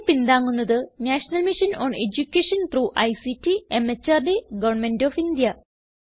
ഇതിനെ പിന്താങ്ങുന്നത് National Mission on Education through ICT MHRD Government of India